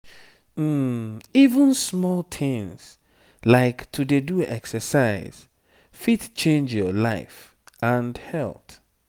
even small things like to dey do exercise fit change your life and health.